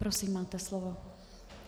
Prosím, máte slovo.